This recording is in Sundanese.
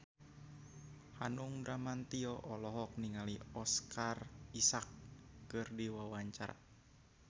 Hanung Bramantyo olohok ningali Oscar Isaac keur diwawancara